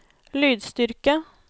lydstyrke